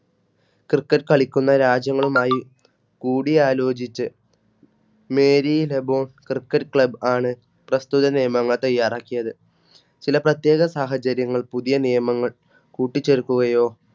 Criket കളിക്കുന്ന രാജ്യങ്ങളുമായി കൂടിയാലോചിച്ച് Meri Labok cricket Club ആണ് പ്രസ്തുത നിയമങ്ങൾ തയ്യാറാക്കിയത് ചില പ്രത്യേക സാഹചര്യങ്ങൾ പുതിയ നിയമങ്ങൾ കൂട്ടിച്ചേർക്കുകയോ